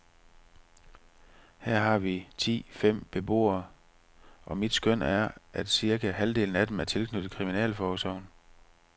Her har vi ti fem beboere, og mit skøn er, at cirka halvdelen af dem er tilknyttet kriminalforsorgen.